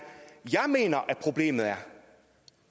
jeg mener at problemet